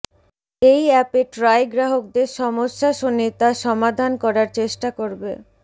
এই অ্যাপে ট্রাই গ্রাহকদের সমস্যা শুনে তা সমাধান করার চেষ্টা করবে